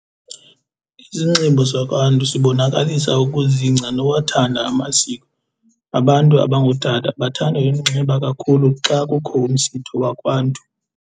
Isinxibo sakwaNtu sibonakalisa ukuzingca nowathanda amasiko. Abantu abangootata bathanda uyinxiba kakhulu xa kukho umsitho wakwaNtu.